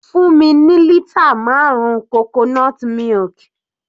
Fún mi ní lítà marun coconut milk.